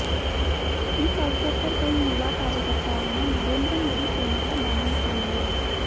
इस अवसर पर कई युवा कार्यकर्ताओं ने नरेंद्र मोदी सेना का दामन थाम लिया